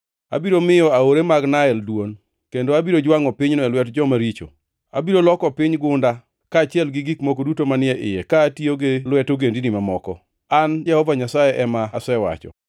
Abiro miyo aore mag Nael dwon, kendo abiro jwangʼo pinyno e lwet joma richo. Abiro loko piny gunda, kaachiel gi gik moko duto manie iye ka atiyo gi lwet ogendini mamoko. An Jehova Nyasaye ema asewacho.